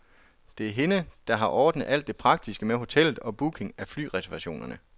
Det er hende, der har ordnet alt det praktiske med hotellet og booking af flyreservationerne.